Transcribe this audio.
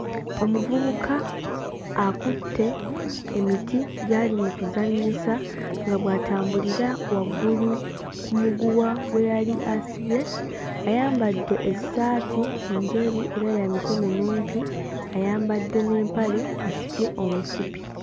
Omuvubuka akutte emiti gy'ali mu kuzannyisa nga bw'atambulira waggulu ku muguwa gwe yali asibye ayambadde essaati njeru era ya mikono mwimpi ayambadde n'empale asibye omusipi.